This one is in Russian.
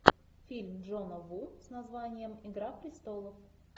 фильм джона ву с названием игра престолов